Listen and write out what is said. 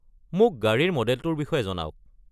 মোক গাড়ীৰ মডেলটোৰ বিষয়ে জনাওক।